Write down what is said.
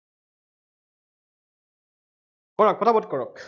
কৰা, পটাপট কৰক